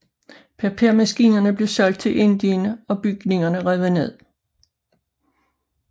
Papirmaskinerne blev solgt til Indien og bygningerne revet ned